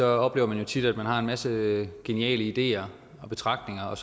oplever man jo tit at man har en masse geniale ideer og betragtninger og